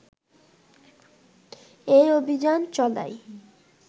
এই অভিযান চালায়